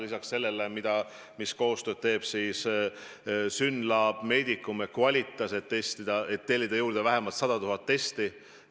Meiega teevad testimisel koostööd Synlab, Medicum ja Qvalitas ning me tahame juurde tellida vähemalt 100 000 testi.